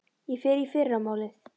Ég fer í fyrramálið.